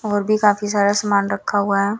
और भी काफी सारा समान रखा हुआ है।